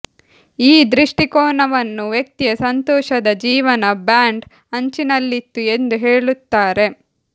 ಈ ದೃಷ್ಟಿಕೋನವನ್ನು ವ್ಯಕ್ತಿಯ ಸಂತೋಷದ ಜೀವನ ಬ್ಯಾಂಡ್ ಅಂಚಿನಲ್ಲಿತ್ತು ಎಂದು ಹೇಳುತ್ತಾರೆ